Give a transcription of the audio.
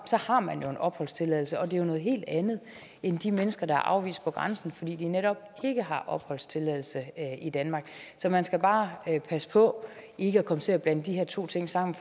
har man jo en opholdstilladelse og det er jo noget helt andet end de mennesker der er afvist ved grænsen fordi de netop ikke har opholdstilladelse i danmark så man skal bare passe på ikke at komme til at blande de her to ting sammen